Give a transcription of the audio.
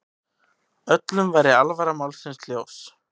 Öllum væri alvara málsins ljós.